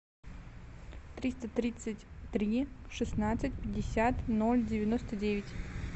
триста тридцать три шестнадцать пятьдесят ноль девяносто девять